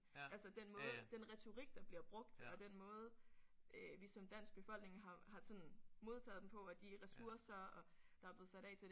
Altså den måde den retorik der bliver brugt og den måde øh vi som dansk befolkning har har sådan modtaget dem på og de ressourcer og der er blevet sat af til det